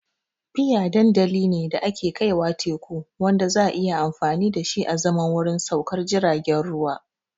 Pier dandali ne da ke kaiwa teku wanda za a iya amfani da shi azaman wurin saukar jiragen ruwa.